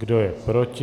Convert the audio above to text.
Kdo je proti?